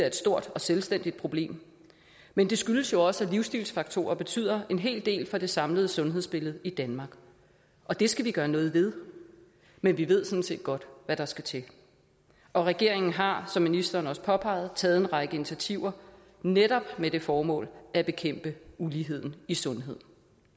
et stort og selvstændigt problem men det skyldes jo også at livsstilsfaktorerne betyder en hel del for det samlede sundhedsbillede i danmark og det skal vi gøre noget ved men vi ved sådan set godt hvad der skal til og regeringen har som ministeren også påpegede taget en række initiativer netop med det formål at bekæmpe uligheden i sundhed